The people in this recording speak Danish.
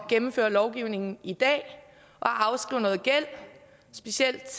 gennemføre lovgivningen i dag og afskrive noget gæld specielt